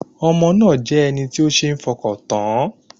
Ọmọ náà jẹ́ ẹni tí ó ṣeé fọkàn tán